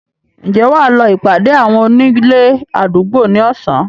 Ǹjẹ́ Wà lọ ìpàdé àwọn onílé àdúgbò ni Ọ̀sán?